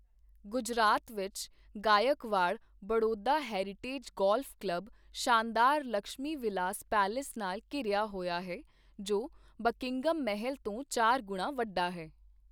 ਗੁਜਰਾਤ ਵਿੱਚ Gaekwad Baroda heritage golf club ਸ਼ਾਨਦਾਰ Laxmi Vilas palace ਨਾਲ ਘਿਰਿਆ ਹੋਇਆ ਹੈ ਜੋ ਬਕਿੰਘਮ ਮਹੱਲ ਤੋਂ ਚਾਰ ਗੁਣਾ ਵੱਡਾ ਹੈ।